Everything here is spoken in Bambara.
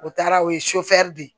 O taara o ye de ye